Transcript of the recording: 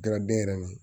Daraden yɛrɛ ni